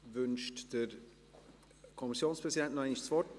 Wünscht der Kommissionspräsident noch einmal das Wort?